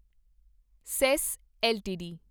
says LTD